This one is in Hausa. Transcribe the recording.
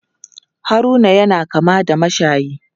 Haruna yana kama da mashayi.